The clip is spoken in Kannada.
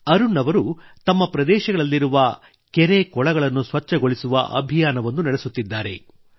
ಅರುಣ್ ಅವರು ತಮ್ಮ ಪ್ರದೇಶಗಳಲ್ಲಿರುವ ಕೆರೆಕೊಳಗಳನ್ನು ಸ್ವಚ್ಛಗೊಳಿಸುವ ಅಭಿಯಾನವನ್ನು ನಡೆಸುತ್ತಿದ್ದಾರೆ